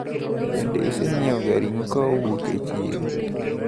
Bende iseganyiewo ring`o kowuok e chiro?